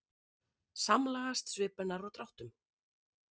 Samlagast svip hennar og dráttum.